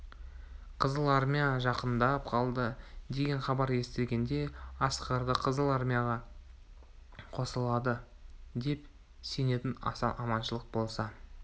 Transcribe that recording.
қызыл армия жақындап қалды деген хабар естілгенде асқарды қызыл армияға қосылады деп сенетін асан аманшылық болса